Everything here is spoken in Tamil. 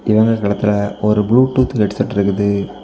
இவரோட கழுத்துல ஒரு ப்ளூடூத் ஹெட்செட் இருக்குது.